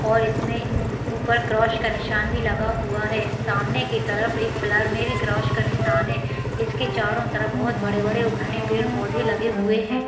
इसमें ऊपर क्रॉस का निशान भी लगा हुआ है सामने की तरफ एक प्लर में भी क्रॉस का निशान है इसके चारों तरफ बोहोत बड़े-बड़े घने पेड़ पौधे लगे हुए है।